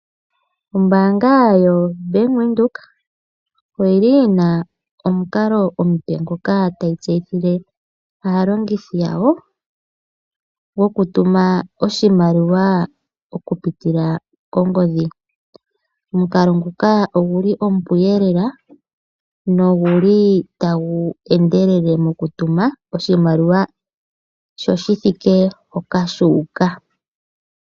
Ombaanga yoBank Windhoek oyili yina omukalo omupe ngoka tayi tseyithile aalongithi yawo goku tuma oshimaliwa okupitila kongodhi. Omukalo nguka oguli omupu lela noguli tagu endelele moku tuma oshimaliwa sho shi thike hoka shuuka.